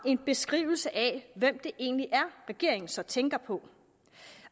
en beskrivelse af hvem det egentlig er regeringen så tænker på